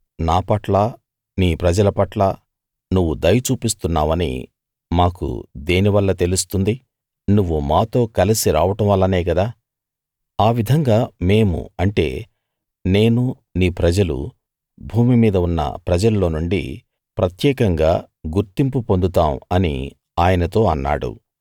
నా పట్ల నీ ప్రజల పట్ల నువ్వు దయ చూపిస్తున్నావని మాకు దేని వల్ల తెలుస్తుంది నువ్వు మాతో కలసి రావడం వల్లనే కదా ఆ విధంగా మేము అంటే నేను నీ ప్రజలు భూమి మీద ఉన్న ప్రజల్లో నుండి ప్రత్యేకంగా గుర్తింపు పొందుతాం అని ఆయనతో అన్నాడు